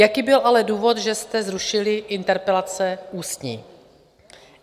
Jaký byl ale důvod, že jste zrušili interpelace ústní?